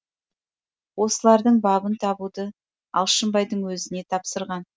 осылардың бабын табуды алшынбайдың өзіне тапсырған